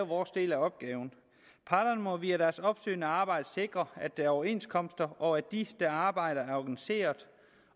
vores del af opgaven parterne må via deres opsøgende arbejde sikre at der er overenskomster og at de der arbejder er organiseret